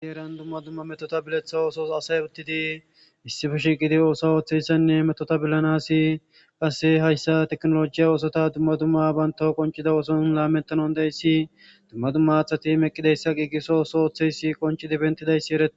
isi heran dumma dumma metota biletha oosos asay uttidi issife shiqidi ooso ooththeyssanne metotabillanasi qasse hayssa teknolojiya oosota dumma dumma banta qonchida ooson laamentanon deyssi dumma dumma athati meqqideyssa qigiso ooso ooththeysi qonchi dibentidayssi eree